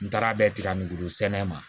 N taara bɛɛ tiga ngoro sɛnɛ ma